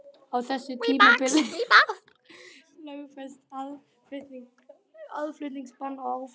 Á þessu tímabili var lögfest aðflutningsbann á áfengi.